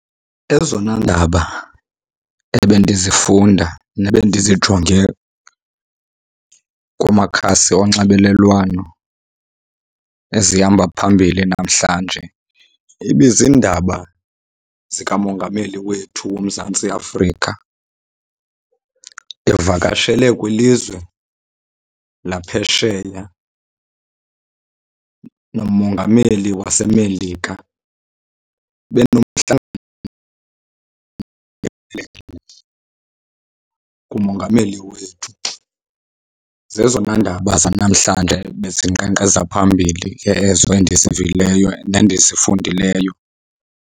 Ezona ndaba ebendizifunda nebendizijonge kumakhasi onxibelelwano ezihamba phambili namhlanje ibizindaba zikamongameli wethu woMzantsi Afrika evakashele kwilizwe laphesheya nomongameli waseMelika, benomhlangano kumongameli wethu. Zezona ndaba zanamhlanje ebezinkqenkqeza phambili ke ezo endizivileyo nendizifundileyo.